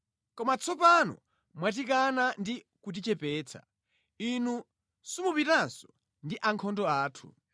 Koma tsopano mwatikana ndi kutichepetsa; Inu simupitanso ndi ankhondo athu.